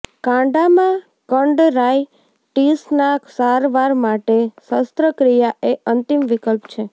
કાંડામાં કંડરાઇટિસના સારવાર માટે શસ્ત્રક્રિયા એ અંતિમ વિકલ્પ છે